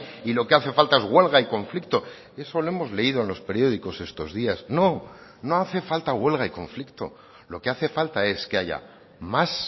y lo que hace falta es huelga y conflicto eso lo hemos leído en los periódicos estos días no no hace falta huelga y conflicto lo que hace falta es que haya más